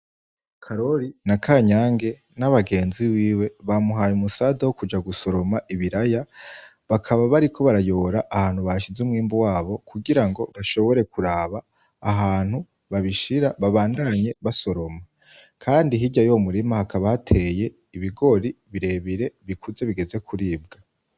Karori na Kanyange n'abagenzi biwe bamuhaye umusada wokuja gusoroma ibiraya bakaba bariko barayora ahantu bashize umwimbu wabo kugirango bashobore kuraba ahantu babishira babandanye basoroma. kandi hirya y'uwo murima hakaba hateye ibigori birebire bikuze bigeze kuribwa.